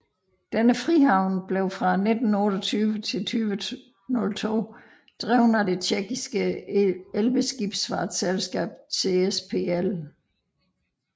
Denne frihavn blev fra 1928 til 2002 drevet af det Tjekkiske Elbeskibfartsselskab ČSPL